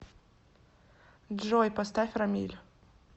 джой поставь рамиль